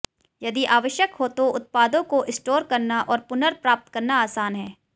यदि आवश्यक हो तो उत्पादों को स्टोर करना और पुनर्प्राप्त करना आसान है